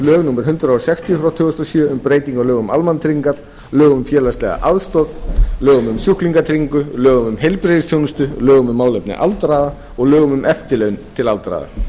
lög númer hundrað sextíu tvö þúsund og sjö um breytingu á lögum um almannatryggingar lögum um félagslega aðstoð lögum um sjúklingatryggingu lögum um heilbrigðisþjónustu lögum um málefni aldraðra og lögum um eftirlaun til aldraðra